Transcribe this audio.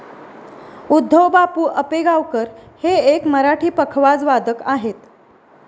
उद्धव बापू अपेगावकर हे एक मराठी पखवाज वादक आहेत